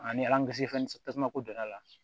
Ani fɛn tasuma ko donna a la